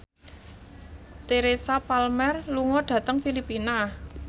Teresa Palmer lunga dhateng Filipina